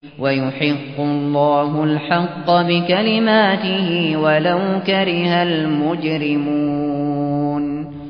وَيُحِقُّ اللَّهُ الْحَقَّ بِكَلِمَاتِهِ وَلَوْ كَرِهَ الْمُجْرِمُونَ